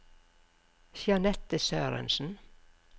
Jeanette Sørensen